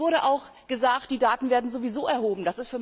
Es wurde auch gesagt, die Daten werden sowieso erhoben.